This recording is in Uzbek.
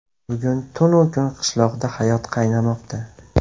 Bugun tun-u kun qishloqda hayot qaynamoqda.